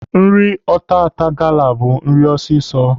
Nri ọtata gala bụ nri ọsịsọ.